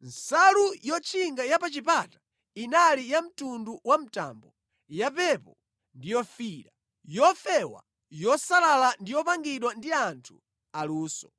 Nsalu yotchinga ya pa chipata inali yamtundu wa mtambo, yapepo ndi yofiira, yofewa yosalala ndi yopangidwa ndi anthu aluso.